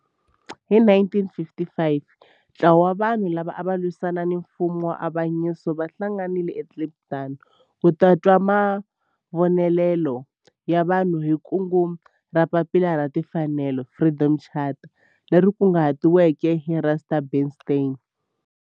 Hi 1955 ntlawa wa vanhu lava ava lwisana na nfumo wa avanyiso va hlanganile eKliptown ku twa mavonelo ya vanhu hi kungu ra Papila ra Tinfanelo, Freedom Charter, leri kunguhatiweke hi Rusty Bernstein.